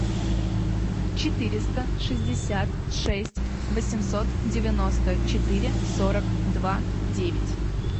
четыреста шестьдесят шесть восемьсот девяносто четыре сорок два девять